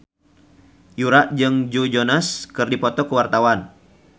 Yura jeung Joe Jonas keur dipoto ku wartawan